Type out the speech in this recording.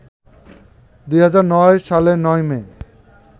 ২০০৯ সালের ৯ মে